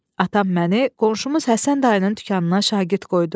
Atam məni qonşumuz Həsən dayının dükanına şagird qoydu.